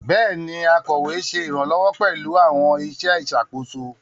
Béèni, akọwé ṣe iranlọwọ pẹlú àwọn iṣẹ ìṣàkóso